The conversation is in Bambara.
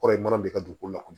Kɔrɔ ye mana de ka dugukolo la